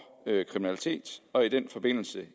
kriminalitet og i den forbindelse